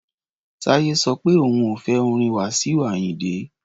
Táyé sọ pé òun ò fẹ́ orin Wasiu Ayinde.